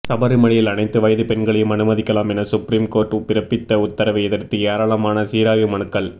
சபரிமலையில் அனைத்து வயது பெண்களையும் அனுமதிக்கலாம் என சுப்ரீம் கோர்ட் பிறப்பித்த உத்தரவை எதிர்த்து ஏராளமான சீராய்வு மனுக்கள்